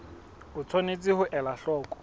o tshwanetse ho ela hloko